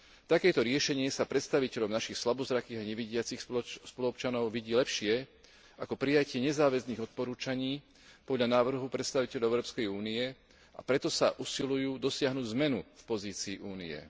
Takéto riešenie sa predstaviteľom našich slabozrakých a nevidiacich spoluobčanov vidí lepšie ako prijatie nezáväzných odporúčaní podľa návrhov predstaviteľov Európskej únie, a preto sa usilujú dosiahnuť zmenu v pozícii Únie.